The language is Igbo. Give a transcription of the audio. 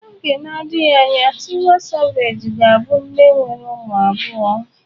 N'oge na-adịghị anya Tiwa Savage ga-abụ nne nwere ụmụ abụọ.